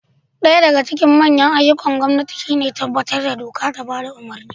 Daya daga cikin manyan ayyukan gwamnati shi ne tabbatar da doka da bada umurni